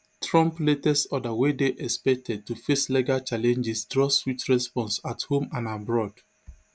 trump latest order wey dey expected to face legal challenges draw swift response at home and abroad